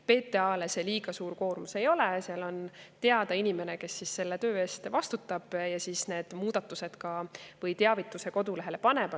PTA‑le see liiga suur koormus ei ole, seal on teada inimene, kes selle töö eest vastutab ja siis teavituse kodulehele paneb.